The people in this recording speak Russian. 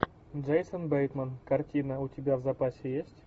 джейсон бейтман картина у тебя в запасе есть